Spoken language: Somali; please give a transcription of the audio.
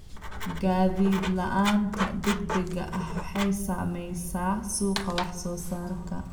Gaadiid la'aanta degdega ah waxay saamaysaa suuqa wax soo saarka.